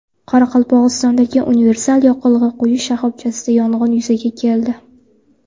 Qoraqalpog‘istondagi universal yoqilg‘i quyish shoxobchasida yong‘in yuzaga keldi .